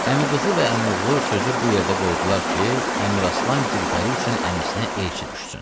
Əmiqızı və əmioğlu sözü bu yerdə qoydular ki, Əmiraslan Gülpəri üçün əmisinə elçi düşsün.